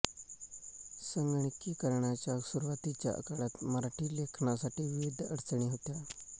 संगणकीकरणाच्या सुरूवातीच्या काळात मराठी लेखनासाठी विविध अडचणी होत्या